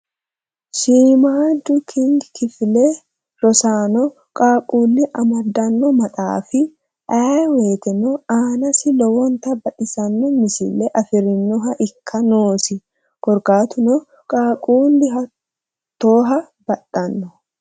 Shiimmadu kg kifile rossano qaaqqulli amaddanno maxaafi ayee woyiiteno aanasi lowota baxissano misile afirinoha ikka noosi. Korkaatuno qaaqqullu hattooha baxxanno.